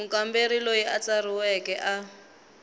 mukamberi loyi a tsarisiweke a